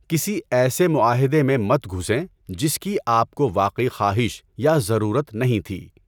کسی ایسے معاہدے میں مت گھسیں جس کی آپ کو واقعی خواہش یا ضرورت نہیں تھی۔